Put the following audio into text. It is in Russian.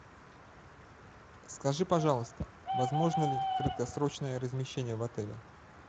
скажи пожалуйста возможно ли краткосрочное размещение в отеле